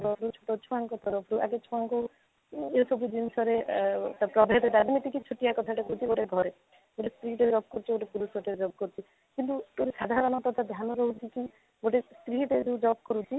use କରୁଛୁ ଛୁଆଙ୍କ ତରଫରୁ ଆଗେ ଛୁଆଙ୍କୁ ଏ ସବୁ ଜିନିଷରେ ଏ ପ୍ରଭେଦରେ ତା' ହଉଛି କି ଛୋଟିଆ କଥାଟେ ହଉଛି କି ଘରେ ଗୋଟେ ସ୍ତ୍ରୀଟେ ବି job କରୁଛି ପୁରୁଷଟେ ବି job କରୁଛି କିନ୍ତୁ ତା'ର ସାଧାରଣାତ୍ୟ ଧ୍ୟାନ ରହୁଛି କି ଗୋଟେ ସ୍ତ୍ରୀଟେ ଯଦି job କରୁଛି